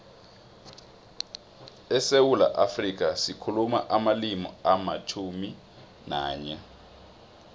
esewula afrika sikhuluma amalimi alitjhumi nanye